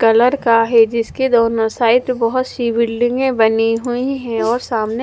colour का है जिसके दोनों साइड बहोत शिव्लिंगे बनी हुई है और सामने--